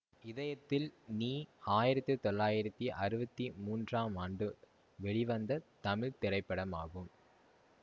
இதயத்தில் நீ ஆயிரத்தி தொள்ளாயிரத்தி அறுபத்தி மூன்றாம் ஆண்டு வெளிவந்த தமிழ் திரைப்படமாகும்